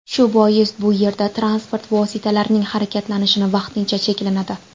Shu bois, bu yerda transport vositalarining harakatlanishi vaqtincha cheklanadi.